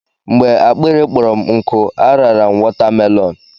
Mgbe akpịrị kpọrọ m nkụ, a rara m wọtamelọn.